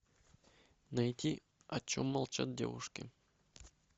найти о чем молчат девушки